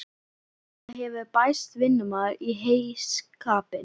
Og það hefur bæst vinnumaður í heyskapinn.